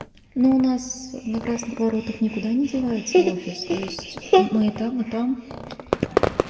но у нас на красных воротах никуда не девается офис то есть мы и там и там